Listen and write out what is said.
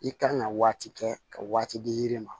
I kan ka waati kɛ ka waati di yiri ma